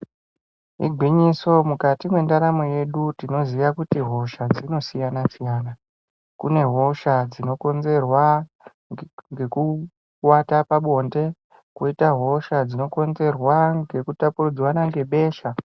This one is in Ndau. Igwinyiso mukati mwendaramo yedu tinoziye kuti hosha dzinosiyana-siyana kune hosha dzinokonzerwa ngekuwata pabonde koita hosha dzinokonzerwa ngekutapurirwana ngebesha.